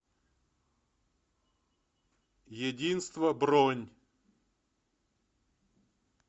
единство бронь